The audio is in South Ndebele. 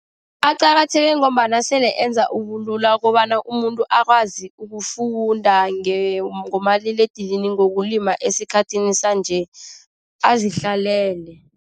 Aqakatheke ngombana sele enza ubulula kobana umuntu akwazi ukufunda ngomaliledinini ngokulima esikhathini sanje azihlalele.